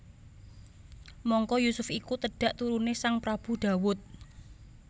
Mangka Yusuf iku tedhak turuné Sang Prabu Dawud